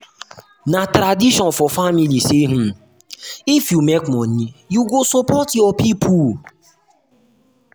na tradition um for family say um if you make money you go support your people.